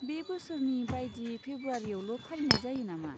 बे बोसोरनि बायदि फेब्रुवारियावल' फालिनाय जायो नामा?